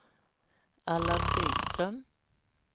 Allan Byström